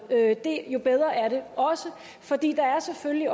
jo bedre er det også fordi der selvfølgelig